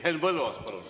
Henn Põlluaas, palun!